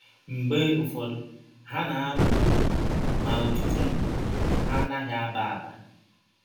Mgbe ụfọdụ ha na - aba ụrụ, ma ọtụtụ mgbe, ha anaghị aba aba.